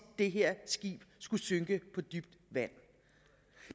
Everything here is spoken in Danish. det her skib skulle synke på dybt vand